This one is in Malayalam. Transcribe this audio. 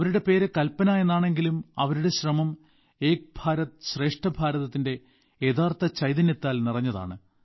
അവരുടെ പേര് കൽപന എന്നാണെങ്കിലും അവരുടെ ശ്രമം ഏക് ഭാരത് ശ്രേഷ്ഠ ഭാരതത്തിന്റെ യഥാർത്ഥ ചൈതന്യത്താൽ നിറഞ്ഞതാണ്